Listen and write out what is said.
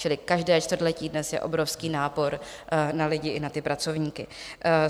Čili každé čtvrtletí dnes je obrovský nápor na lidi i na ty pracovníky.